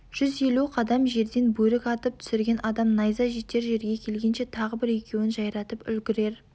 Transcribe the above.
жүз елу қадам жерден бөрік атып түсірген адам найза жетер жерге келгенше тағы бір екеуін жайратып үлгірер